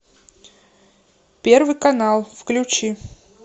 первый канал включи